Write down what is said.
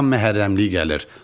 Qabaqdan Məhərrəmlik gəlir.